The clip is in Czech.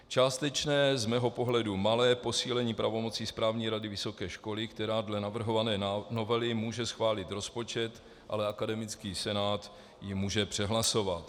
Částečné, z mého pohledu malé posílení pravomoci správní rady vysoké školy, která dle navrhované novely může schválit rozpočet, ale akademický senát ji může přehlasovat.